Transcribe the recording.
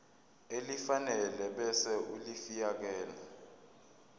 elifanele ebese ulifiakela